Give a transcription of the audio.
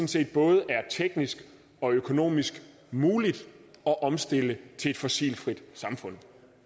set både er teknisk og økonomisk muligt at omstille til et fossilfrit samfund